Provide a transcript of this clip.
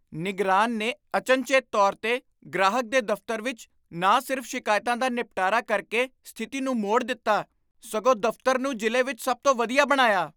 ਨਿਗਰਾਨ ਨੇ ਅਚਨਚੇਤ ਤੌਰ 'ਤੇ ਗ੍ਰਾਹਕ ਦੇ ਦਫ਼ਤਰ ਵਿਚ ਨਾ ਸਿਰਫ ਸ਼ਿਕਾਇਤਾਂ ਦਾ ਨਿਪਟਾਰਾ ਕਰਕੇ ਸਥਿਤੀ ਨੂੰ ਮੋੜ ਦਿੱਤਾ, ਸਗੋਂ ਦਫ਼ਤਰ ਨੂੰ ਜ਼ਿਲ੍ਹੇ ਵਿਚ ਸਭ ਤੋਂ ਵਧੀਆ ਬਣਾਇਆ।